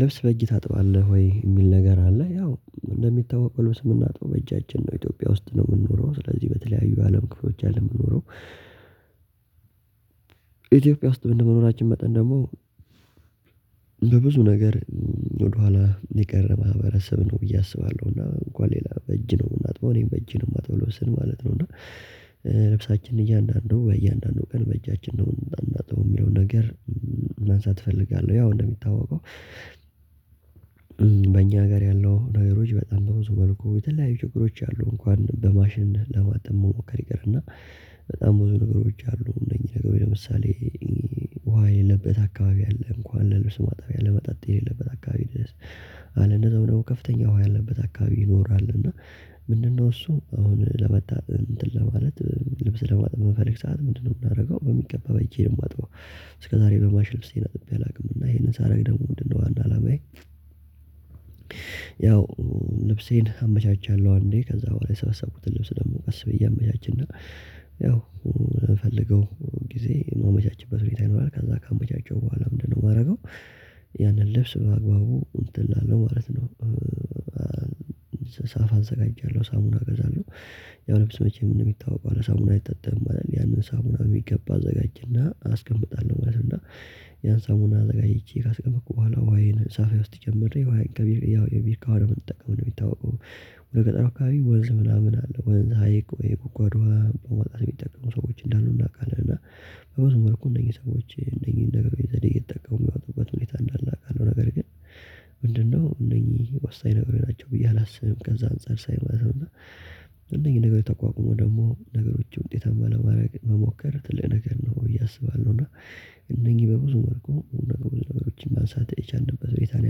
ልብስ በእጅ ታጥባለህ ወይ? የሚል ነገር አለ ያው እንደሚታወቀው ልብስ የምናጥበው በእጃችን ነው ኢትዮጵያ ውስጥ ነው የምንኖረው ስለዚህ በተለያዩ አለም ክፍሎች አይደለም የምንኖረው። ኢትዮጵያ ውስጥ እንደ መኖራችን መጠን ደግሞ በብዙ ነገር ወደኋላ የቀረ ማህበረሰብ ነው ብዬ አስባለሁ። እና እንኳን ሌላ በእጅ ነው እና የምናጥበው እኔም በእጅ ነው የማጥበው ልብስን ማለት ነው። እና ልብሳችንን እያንዳንዱ ወይም እያንዳንዱ ቀን በእጃችን ነው እንዳናጥበው የሚለውን ነገር ማንሳት እፈልጋለሁ። ያው እንደሚታወቀው ጋር ያለው ነገሮች በጣም በብዙ መልኩ የተለያዩ ችግሮች አሉ። እንኳን በማሽን ለማጠብ መሞከር ይቅርና በጣም ብዙ ነገሮች አሉ። እነዚህ ነገሮች ለምሳሌ ውሃ የለበት አካባቢ አለ እንኳን ለልብስ ማጣቢያ ለመጣጥ የሌለበት አካባቢ ድረስ አለ እንደዛው ደግሞ ከፍተኛ ውሃ ያለበት አካባቢ ይኖራል። እና ምንድነው እሱ አሁን ለመታጠብ እንትን ለማለት ልብስ ለማጠብ በምፈለግ ሰዓት ምንድነው የምታደርገው? በሚገባ በእጄ ነው የማጥበው። እስከዛሬ በማሽን ልብስን አጥቤ አላውቅም። እና ይሄንን ሳረግ ደግሞ ምንድነው ዋና አለማዬ? ያው ልብሴን አመቻቻለሁ። አንዴ ከዛ በኋላ የሰበሰብኩትን ልብስ ደግሞ ቀስ ብዬ እያመቻችና ያው የምፈልገው ጊዜ የማመቻችበት ሁኔታ ይኖራል። ከዛ ካመቻቸው በኋላ ምንድነው የማደርገው? ያንን ልብስ በአግባቡ እንትን እላለው ማለት ነው። ሳፋ አዘጋጃለሁ ሳሙና እገዛለሁ። ያው ልብስ መቼም እንደሚታወቀው ያለ ሳሙና አይታጠብም ማለት ነው። ያንን ሳሙና በሚገባ አዘጋጅና አስቀምጣለሁ ማለት ነው። እና ያን ሳሙና አዘጋጅቼ ካስቀመጥኩ በኋላ ውሃዬን ሳፋዬ ውስጥ ጨምሬ ውሃዬን ያው የቢርካ ውሃ ነው የምንጠቀመው እንደሚታወቀው። ወደ ገጠሩ አካባቢ ወንዝ ምናምን አለ ወንዝ ሀይቅ ወይ የጉድጓድ ወይ በማውጣት የሚጠቅሙ ሰዎች እንዳሉ እናውቃለን። እና በብዙ መልኩ እንደየ ሰዎች እነኚህን ነገሮች ዘዴ እየተጠቀሙ የሚያወጡበት ሁኔታ እንዳለ አውቃለሁ። ነገር ግን ምንድነው እነኚህ ወሳኝ ናቸው ብዬ አላስብም። ከዛ አንፃር ሳይ ማለት ነው እነኚህ ነገር ተቋቁሞ ደግሞ ነገሮች ውጤት አለማድረግ መሞከር ትልቅ ነገር ነው ብዬ እያሰባለሁ። እና እነኚህ በብዙ መልኩ ብዙ ነገሮችን ማንሳት የቻልንበት ሁኔታ ነው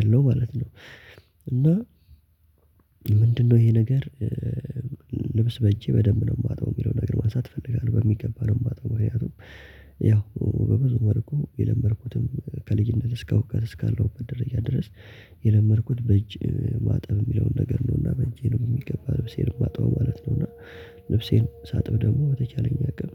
ያለው ማለት ነው። እና ይሄ ነገር ልብስ በእጄ በደንብ ነው የማጥበው የሚለው ነገር ማሳት እፈልጋለሁ። በሚገባ ነው የማጥበው ምክንያቱም ያው በብዙ መልኩ የለመድኩትም ከልጅነት እስከ እውቀት እስካለሁበት ደረጃ ድረስ። የለመድኩት በእጅ ማጠብ የሚለውን ነገር ነውና በእጄ ነው የሚገባ ልብሴን የማጥበው ማለት ነው። እና ልብሴን ሳጥብ ደግሞ በተቻለኝ አቅም